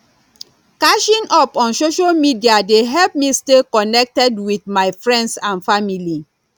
catching up on social media dey help me stay connected with my friends and family